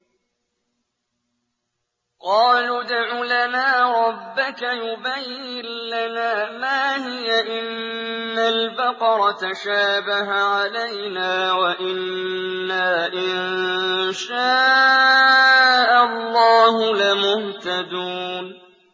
قَالُوا ادْعُ لَنَا رَبَّكَ يُبَيِّن لَّنَا مَا هِيَ إِنَّ الْبَقَرَ تَشَابَهَ عَلَيْنَا وَإِنَّا إِن شَاءَ اللَّهُ لَمُهْتَدُونَ